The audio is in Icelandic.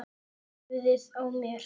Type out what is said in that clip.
Höfuðið á mér